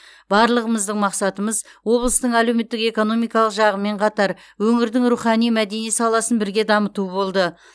барлығымыздың мақсатымыз облыстың әлеуметтік экономикалық жағымен қатар өңірдің рухани мәдени саласын бірге дамыту болды